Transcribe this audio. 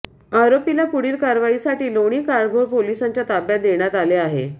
आरोपीला पुढील कारवाईसाठी लोणी काळभोर पोलिसांच्या ताब्यात देण्यात आले आहे